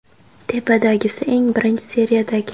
Tepadagisi eng birinchi seriyadagi.